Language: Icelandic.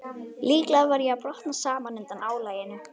Líklega var ég að brotna saman undan álaginu.